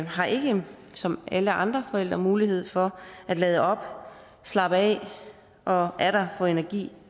har ikke som alle andre forældre mulighed for at lade op slappe af og atter få energi